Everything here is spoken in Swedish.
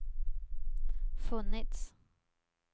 funnits